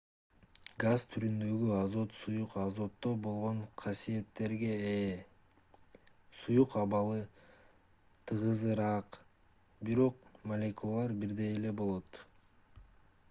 газ түрүндөгү азот суюк азотто болгон касиеттерге ээ суюк абалы тыгызыраак бирок молекулалары бирдей эле болот